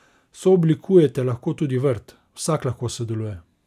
Sooblikujete lahko tudi vrt, vsak lahko sodeluje!